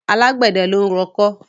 Àgbẹ̀dẹ ló ń rọkọ́.